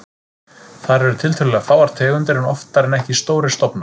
Þar eru tiltölulega fáar tegundir en oftar en ekki stórir stofnar.